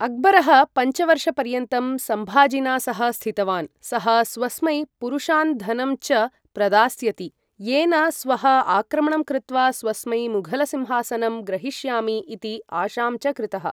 अक्बरः पञ्चवर्षपर्यन्तं सम्भाजिना सह स्थितवान्, सः स्वस्मै पुरुषान् धनं च प्रदास्यति, येन स्वः आक्रमणं कृत्वा स्वस्मै मुघलसिंहासनं ग्रहीष्यामि इति आशां च कृतः।